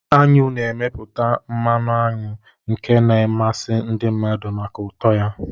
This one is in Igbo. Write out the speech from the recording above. Aṅụ na-emeputa mmanụ aṅụ nke na-amasị ndị mmadụ maka ụtọ ya.